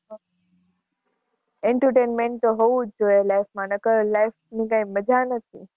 entertainment તો હોવું જ જોઈએ life માં નકર life ની કઈ મજા નથી.